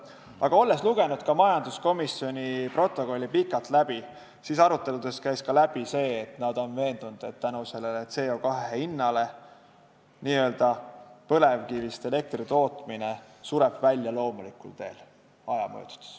Aga olles lugenud läbi ka majanduskomisjoni istungi protokolli, võin öelda, et aruteludest käis läbi ka see, et nad on veendunud, et tänu CO2 hinnale sureb põlevkivist elektri tootmine aja möödudes loomulikul teel välja.